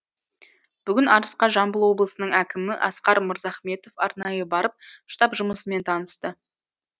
бүгін арысқа жамбыл облысының әкімі асқар мырзахметов арнайы барып штаб жұмысымен танысты